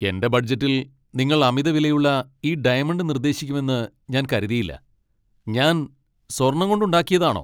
എന്റെ ബഡ്ജറ്റിൽ നിങ്ങൾ അമിതവിലയുള്ള ഈ ഡയമണ്ട് നിർദ്ദേശിക്കുമെന്ന് ഞാൻ കരുതിയില്ല! ഞാൻ സ്വർണ്ണം കൊണ്ടുണ്ടാക്കിയതാണോ?